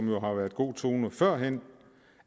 jo har været god tone førhen